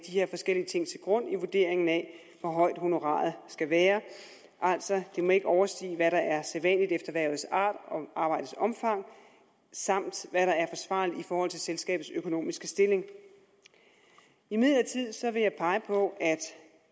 her forskellige ting til grund i vurderingen af hvor højt honoraret skal være altså det må ikke overstige hvad der er sædvanligt efter hvervets art og arbejdets omfang samt hvad der er forsvarligt i forhold til selskabets økonomiske stilling imidlertid vil jeg pege på